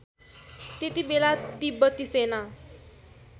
त्यति बेला तिब्बती सेना